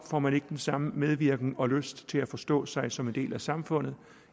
får man ikke den samme medvirken og lyst til at forstå sig som en del af samfundet